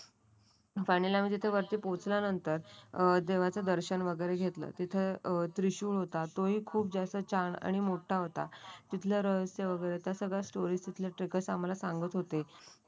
पाण्याला म्हणजे ते वरती पोचल्यानंतर अ देवाचे दर्शन वगैरे घेतलं. तिथे त्रिशूल होता तो हि खूप जास्त छान आणि मोठा होता. तिथल्या रहस्य वगैरे स्टोरी तीतले ट्रेकरस आम्हाला सांगत होते.